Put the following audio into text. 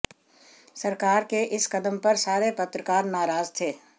सरकार के इस कदम पर सारे पत्रकार नाराज़ थे